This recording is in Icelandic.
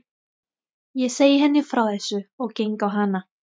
Ég segi henni frá þessu og geng á hana.